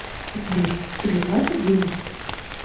сбер тебе платят деньги